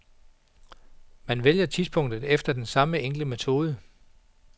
Man vælger tidspunktet efter den samme enkle metode.